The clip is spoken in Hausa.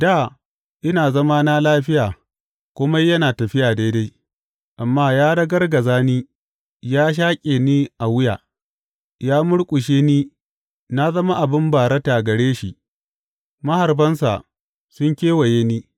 Dā ina zamana lafiya kome yana tafiya daidai; amma ya ragargaza ni; ya shaƙe ni a wuya; ya murƙushe ni na zama abin barata gare shi; maharbansa sun kewaye ni.